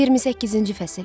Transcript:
28-ci fəsil.